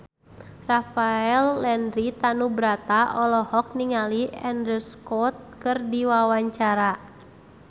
Rafael Landry Tanubrata olohok ningali Andrew Scott keur diwawancara